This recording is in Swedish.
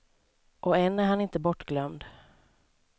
Och än är han inte bortglömd.